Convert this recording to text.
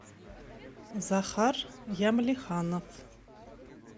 захар ямлиханов